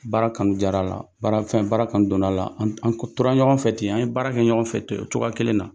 Baara kanu diyara la, baara fɛn, baara kanu donna la, an an ko tora ɲɔgɔn fɛ ten, an ye baara kɛ ɲɔgɔn fɛ ten o cogoya kelen na.